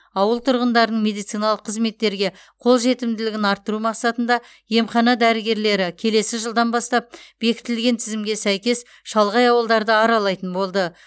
ауыл тұрғындарының медициналық қызметтерге қол жетімділігін арттыру мақсатында емхана дәрігерлері келесі жылдан бастап бекітілген тізімге сәйкес шалғай ауылдарды аралайтын болды